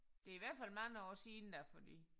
Det i hvert fald mange år siden da fordi